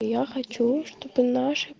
я хочу чтобы наши